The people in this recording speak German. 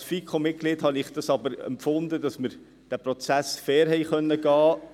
Als FiKo-Mitglied habe ich aber empfunden, dass wir diesen Prozess fair haben angehen können.